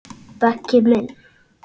Beggi minn.